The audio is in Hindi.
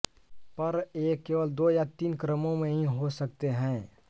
पर ये केवल दो या तीन क्रमों में ही हो सकते हैं